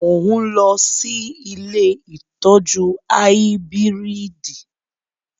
Mo ń lọ sí ilé ìtọ́jú áíbírìdì